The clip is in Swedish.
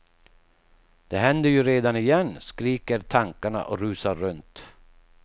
Det händer ju redan igen, skriker tankarna och rusar runt.